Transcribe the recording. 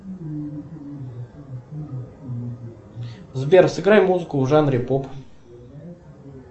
сбер сыграй музыку в жанре поп